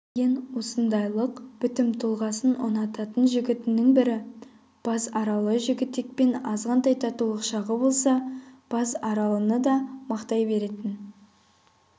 деген осындайлық бітім-тұлғасын ұнататын жігітінің бірі базаралы жігітекпен азғантай татулық шағы болса базаралыны да мақтай беретін